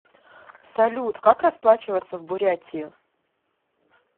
салют как расплачиваться в бурятии